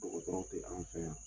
Dɔgɔtɔrɔw tɛ an fɛ yan.